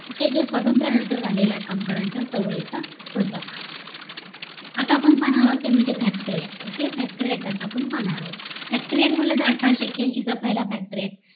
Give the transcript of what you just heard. okay हे स्वतंत्र नंतर झालेल्या कामगारांच्या चळवळीचा प्रताप आता आपण पाहणार आहोत ते म्हणजे factory ACT OKAY factory ACT आता आपण पाहणार आहोत factory act म्हंटलं कि अथावीषे एक्याऐंशी चा पहिला factory act